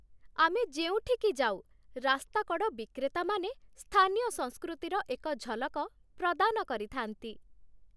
ଆମେ ଯେଉଁଠିକି ଯାଉ, ରାସ୍ତାକଡ଼ ବିକ୍ରେତାମାନେ ସ୍ଥାନୀୟ ସଂସ୍କୃତିର ଏକ ଝଲକ ପ୍ରଦାନ କରିଥାନ୍ତି।